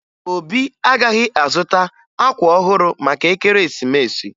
Obi agaghị azụta akwa ọhụrụ maka ekeresimesi